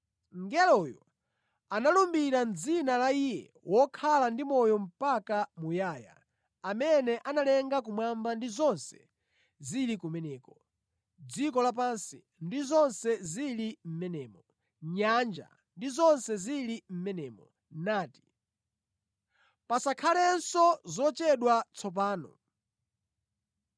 Mngeloyo analumbira mʼdzina la Iye wokhala ndi moyo mpaka muyaya, amene analenga kumwamba ndi zonse zili kumeneko, dziko lapansi ndi zonse zili mʼmenemo, nyanja ndi zonse zili mʼmenemo, nati, “Pasakhalenso zochedwa tsopano!